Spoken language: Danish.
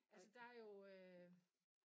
Altså der jo øh